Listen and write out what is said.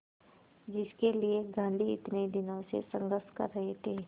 जिसके लिए गांधी इतने दिनों से संघर्ष कर रहे थे